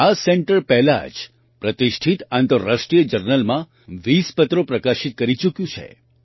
આ સેન્ટર પહેલાં જ પ્રતિષ્ઠિત આંતરરાષ્ટ્રીય જર્નલમાં 20 પત્રો પ્રકાશિત કરી ચૂક્યું છે